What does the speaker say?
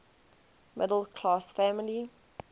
middle class family